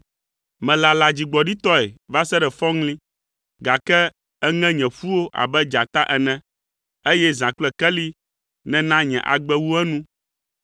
Melala dzigbɔɖitɔe va se ɖe fɔŋli, gake èŋe nye ƒuwo abe dzata ene, eye zã kple keli nèna nye agbe wu enu.